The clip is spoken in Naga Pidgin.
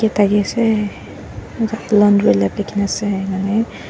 thakiase laundry lab likhina ase enahuine.